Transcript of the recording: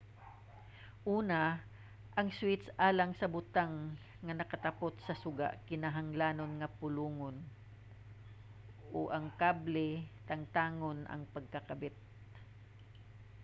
una ang switch alang sa butang nga nakatapot sa suga nagkinahanglan nga palungon o ang kable tangtangon ang pagkakabit